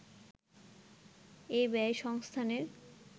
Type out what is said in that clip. এ ব্যয় সংস্থানের